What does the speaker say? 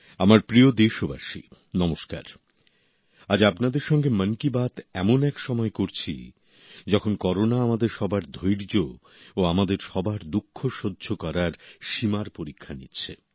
আমার প্রিয় দেশবাসী নমস্কার আজ আপনাদের সঙ্গে মন কি বাত এমন এক সময় করছি যখন করোনা আমাদের সবার ধৈর্য ও আমাদের সবার দুঃখ সহ্য করার সীমার পরীক্ষা নিচ্ছে